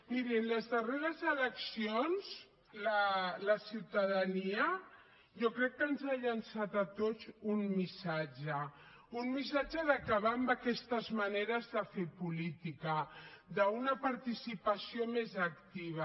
mirin les darreres eleccions la ciutadania jo crec que ens ha llançat a tots un missatge un missatge d’acabar amb aquestes maneres de fer política d’una participació més activa